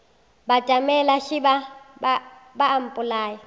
batamela šeba ba a mpolaya